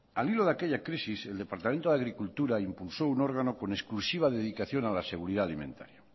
al hilo de aquella crisis el departamento de agricultura impulsó un órgano con exclusiva dedicación a la seguridad alimentaria